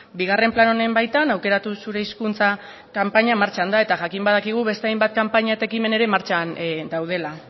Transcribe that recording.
bigarren plan honen baitan aukeratu zure hizkuntza kanpaina martxan da eta jakin badakigu beste hainbat kanpaina eta ekimen ere martxan daudela